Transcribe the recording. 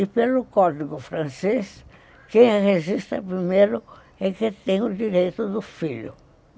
E pelo Código Francês, quem registra primeiro é que tem o direito do filho.